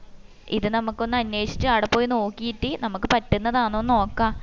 ഇത് നമ്മക്ക് ഒന്ന് അന്വേഷിച് ആട പോയി നോക്കിട്ട് നമ്മക്ക് പറ്റുന്നതാന്നൊന്ന് നോക്ക